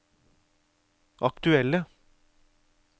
aktuelle